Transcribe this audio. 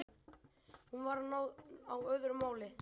Hún var á öðru máli.